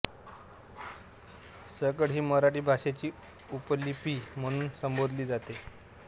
सकळ ही मराठी भाषेची उपलिपी म्हणून संबोधली जाते